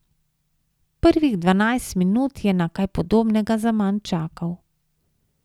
Prvih dvanajst minut je na kaj podobnega zaman čakal.